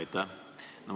Aitäh!